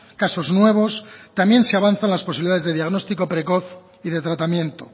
casos nuevos también se avanza en las posibilidades de diagnóstico precoz y de tratamiento